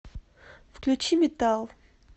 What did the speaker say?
включи метал